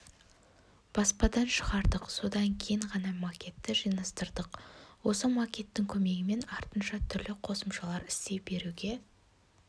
баспадан шығардық содан кейін ғана макетті жинастырдық осы макеттің көмегімен артынша түрлі қосымшалар істей беруге